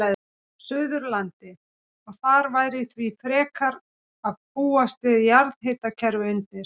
Suðurlandi, og þar væri því frekar að búast við jarðhitakerfi undir.